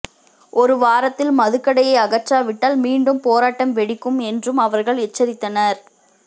ஒரு வாரத்தில் மதுக்கடையை அகற்றாவிட்டால் மீண்டும் போராட்டம் வெடிக்கும் என்றும் அவர்கள் எச்சரித்தனர